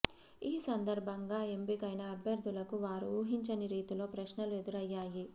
ఈ సందర్భంగా ఎంపికైన అభ్యర్థులకు వారు ఊహించని రీతిలో ప్రశ్నలు ఎదురయ్యాయి